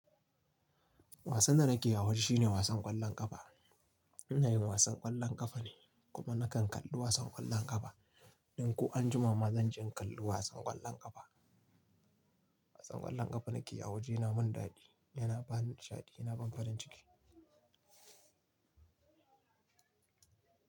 Wasan da nake yi a waje shine wasan ƙwallon ƙafa. Ina yin wasan ƙwallon ƙafa ne kuma nakan kalli wasan ƙwallon ƙafa. Ɗon ko anjima ma zan je in kalli wasan ƙwallon ƙafa. Wasan ƙwallon ƙafa nake yi a waje yana min daɗi, yana bani nishaɗi, yana ban farin ciki.